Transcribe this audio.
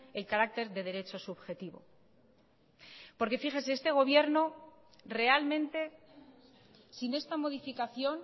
el carácter de derecho subjetivo porque fíjense este gobierno realmente sin esta modificación